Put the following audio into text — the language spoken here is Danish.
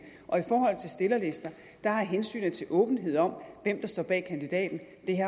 og i forhold til stillerlister har hensynet til åbenhed om hvem der står bag kandidaten